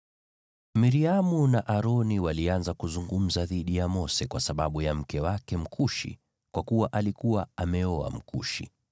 Miriamu na Aroni walianza kuzungumza dhidi ya Mose kwa sababu ya mke wake Mkushi, kwa kuwa alikuwa ameoa Mkushi.